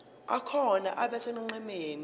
akhona abe sonqenqemeni